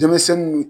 Denmisɛnninw